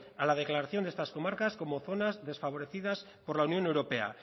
a la declaración de estas comarcas como zonas desfavorecidas por la unión europea